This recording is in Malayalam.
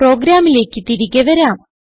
പോഗ്രമിലേക്ക് തിരികെ വരാം